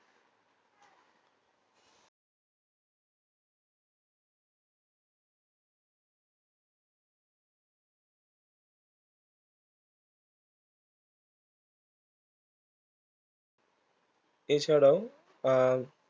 এছাড়াও আহ